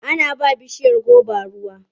Ana ba wa bishiyar goba ruwa.